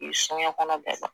I soɲɛkɔnɔ bɛɛ dɔn